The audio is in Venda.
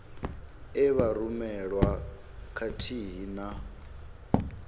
e vha rumelwa khathihi na